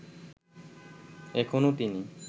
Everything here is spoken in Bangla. এখনও তিনি